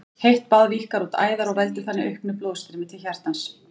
Heitt bað víkkar út æðar og veldur þannig auknu blóðstreymi til hjartans.